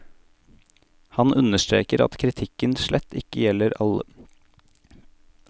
Han understreker at kritikken slett ikke gjelder alle distriktene, og at mange av forholdene allerede er rettet opp.